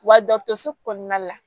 Wa dɔtɔrɔso kɔnɔna la